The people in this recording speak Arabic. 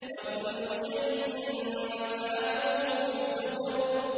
وَكُلُّ شَيْءٍ فَعَلُوهُ فِي الزُّبُرِ